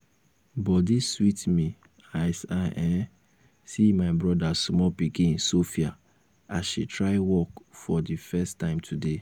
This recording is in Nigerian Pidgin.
i hear say dede don become muslim how person go fit change im religion so fast like fast like that?